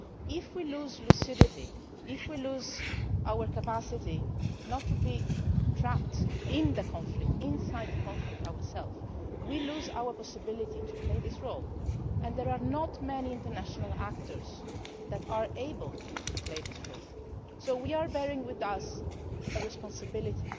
If we lose lucidity, if we lose our capacity not to be trapped within the conflict ourselves, we lose our possibility to play this role and there are not many international actors that are able to play this role, so we are bearing with us a responsibility.